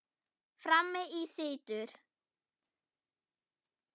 Frammi í situr